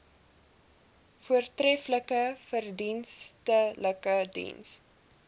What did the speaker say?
voortreflike verdienstelike diens